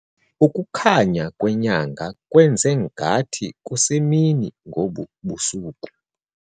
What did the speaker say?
Ukukhanya kwenyanga kwenze ngathi kusemini ngobu busuku.